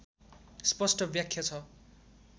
स्पस्ट व्याख्या छ